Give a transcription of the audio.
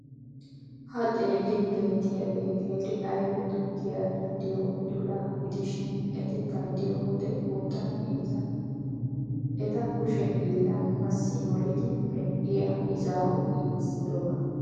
Ha xeellin beettiyagee qeeri ayfe tukkiya caddiyo udulaa gidishin eti paydiyo wode qoodan heezza. Eta kushe hiillan massi molidi medhdhiya izaawu giigissidoba.